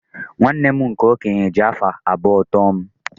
nwanne m nke okenye ji afọ abụọ too m